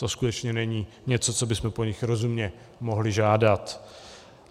To skutečně není něco, co bychom po nich rozumně mohli žádat.